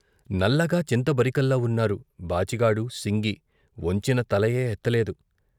నల్లగా చింతబరికల్లా వున్నారు బాచిగాడు, సింగి, వొంచిన తల యే ఎత్త లేదు.